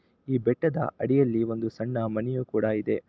ಈ ಬೆಟ್ಟದ ಅಡಿಯಲ್ಲಿ ಒಂದು ಸಣ್ಣ ಮನೆಯೂ ಕೂಡ ಇದೆ.